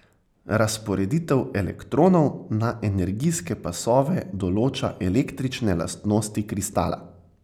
Razporeditev elektronov na energijske pasove določa električne lastnosti kristala.